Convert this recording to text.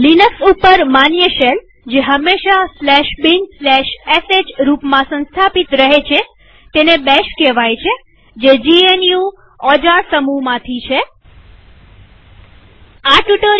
Linux ઉપર માન્ય shell જે હંમેશા binsh રૂપમાં સંસ્થાપિત રહે છે તેને બેશ કહેવાય iઇ થે જીએનયુ bourne અગેઇન શેલ જે જીએનયુ ઓજાર સમૂહમાંથી છે